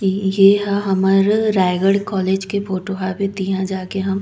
येहा हमर रायगढ़ कॉलेज के फोटो यहाँ जाके हम--